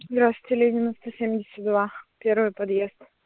здравствуйте ленина сто семьдесят два первый подъезд